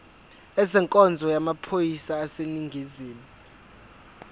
ezenkonzo yamaphoyisa aseningizimu